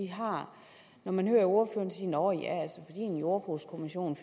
har man hører ordføreren sige nå ja når en jordbrugskommission